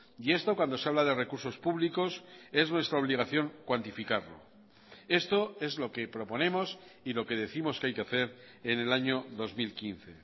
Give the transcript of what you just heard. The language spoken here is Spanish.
y esto cuando se habla de recursos públicos es nuestra obligación cuantificarlo esto es lo que proponemos y lo que décimos que hay que hacer en el año dos mil quince